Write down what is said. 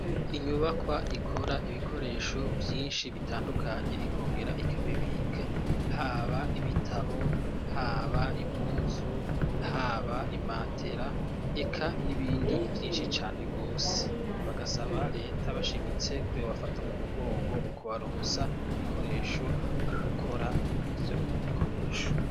Inyubakwa ikora ibikoresho vyinshi bitandukanye ikongera ikabibika haba ibitabo haba impuzu haba imatera eka n'ibindi vyinshi cane rwose bagasaba leta bashimitse ko yobafata mu mugongo mu kubaronsa ibikoreshoe gukora ivyo bikoresho.